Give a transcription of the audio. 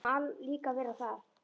Þú mátt nú líka vera það.